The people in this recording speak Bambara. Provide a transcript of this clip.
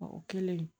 O kɛlen